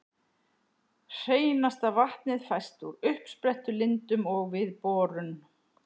Hreinasta vatnið fæst úr uppsprettulindum og við borun.